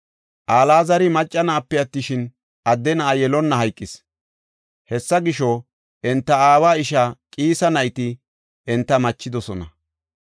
Alaazari macca na7ape attishin, adde na7a yelonna hayqis. Hessa gisho, enta aawa ishaa Qiisa nayti enta machidosona.